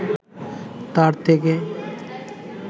তার থেকে